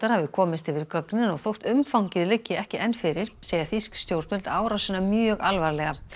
hafi komist yfir gögnin og þótt umfangið liggi ekki enn fyrir segja þýsk stjórnvöld árásina mjög alvarlega